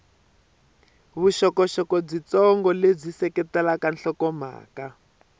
vuxokoxoko byitsongo lebyi seketelaka nhlokomhaka